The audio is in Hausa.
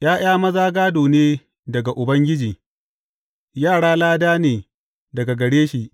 ’Ya’ya maza gādo ne daga Ubangiji, yara lada ne daga gare shi.